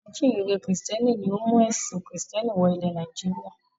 Àwọn ajíǹrere Kìrìtẹ́ẹ́nì ni ó mú ẹ̀sìn Kìrìtẹ́ẹ́nì wọ ilẹ̀ Nàìjíríà.